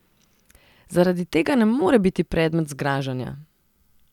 Zaradi tega ne more biti predmet zgražanja.